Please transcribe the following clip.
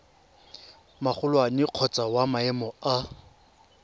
magolwane kgotsa wa maemo a